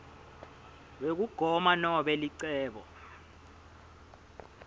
wekugoma nobe licebo